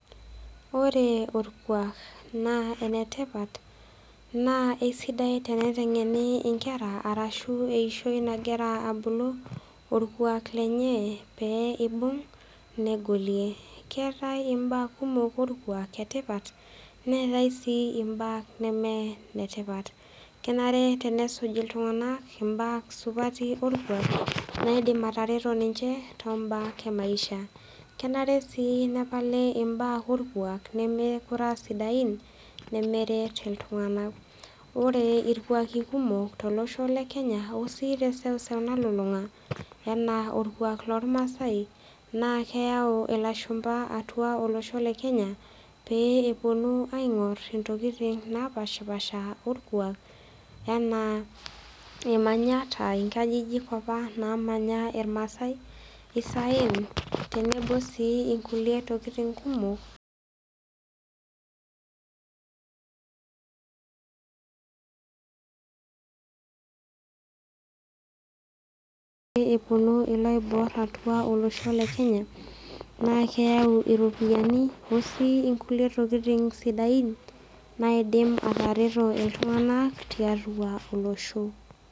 Ore orkuak naa netipat naa esidai teniteng'ene enkera arashu eyishoi nagira abulu orkuak lenye peyie ebug negolie keetae embaa kumok ore orkuak naa ene tipat netai sii mbaa neme netipat kenare tenisuj iltung'ana mbaa supati orkuak naidimi atareto ninje too mbaa ee maisha kenare sii nepali mbaa orkuak nemekure aa sidain nemeret iltung'ana ore irkuaki kumok tolosho lee Kenya osi te sewuseu nalulung'a enaa orkuak loormasai naa kayau elashumba atua olosho le Kenya pee epuonu aing'or ntokitin napashipasha orkuak enaa emanyat aa nkajijik apa namanya irmasai saen tenebo sii nkulie tokin kumok epuonu eloibor atua olosho le Kenya naa kayeu eropiani onkulie sii tokitin sidain naidim atareto iltung'ana tiatua olosho